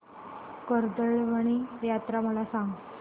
कर्दळीवन यात्रा मला सांग